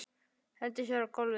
Hendir sér á gólfið.